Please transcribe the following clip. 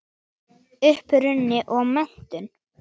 Uppruni og menntun